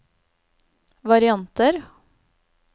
varianter